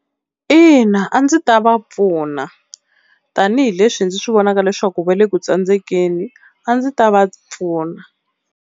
Ina a ndzi ta va pfuna tanihileswi ndzi swi vonaka leswaku va le ku tsandzekeni a ndzi ta va pfuna.